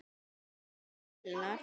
Og stekkur til hennar.